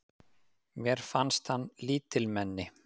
Mér fannst hann lítilmenni.